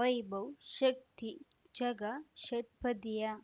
ವೈಭವ್ ಶಕ್ತಿ ಝಗಾ ಷಟ್ಪದಿಯ